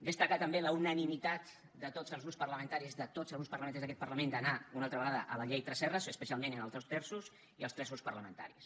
destacar també la unanimitat de tots els grups parlamentaris de tots els grups parlamentaris d’aquest parlament d’anar una altra vegada a la llei tresserras especialment en els dos terços i els tres grups parlamentaris